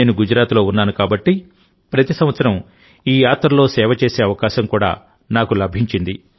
నేను గుజరాత్లో ఉన్నానుకాబట్టి ప్రతి సంవత్సరం ఈ యాత్రలో సేవ చేసే అవకాశం కూడా నాకు లభించింది